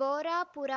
Borapura